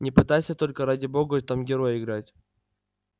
не пытайся только ради бога там героя играть